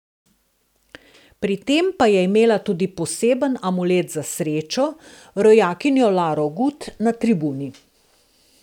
Pri tem pa je imela tudi poseben amulet za srečo, rojakinjo Laro Gut na tribuni.